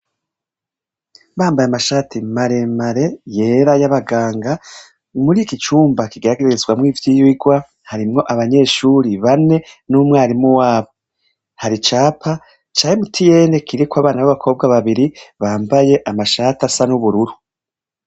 Bambaye amashati maremare yera y'abaganga, muriki cumba kigeragerezamwo ivyirwa, harimwo abanyeshuri bane, n'umwarimu wabo. Hari icapa, ca MTN kiriko abana n'abakobwa babiri, bambaye amashati asa n'ubururu.